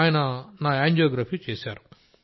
ఆయన నా యాంజియోగ్రఫీ చేశారు